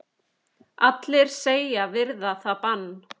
Allir segjast virða það bann.